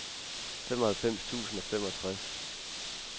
femoghalvfems tusind og femogtres